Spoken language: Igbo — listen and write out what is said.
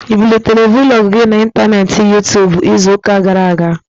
Ị bulitere Vlọg gị na n'intaneeti Yuu-tuubu izu ụka gara aga?